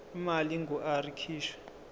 imali engur ikhishwa